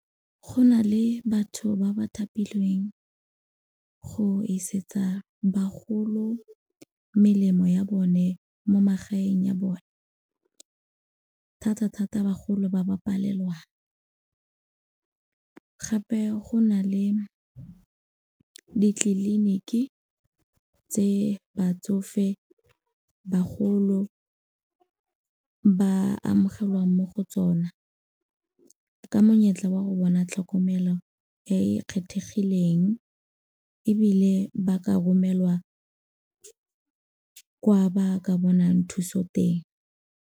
Go na le batho ba ba thapilweng go isetsa bagolo melemo ya bone mo magaeng ya bone, thata-thata bagolo ba ba palelwang. Gape go na le ditleliniki tse batsofe, bagolo ba amogelwang mo go tsona ka monyetla wa go bona tlhokomelo e e kgethegileng, ebile ba ka romelwa kwa ba ka bonang thuso teng.